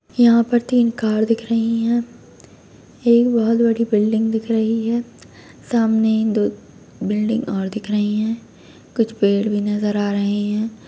यहाँ पर तीन कार दिख रही हैं एक बहोत बड़ी बिल्डिंग दिख रही है सामने दो बिल्डिंग और दिख रही हैं कुछ पेड़ भी नजर आ रहे हैं।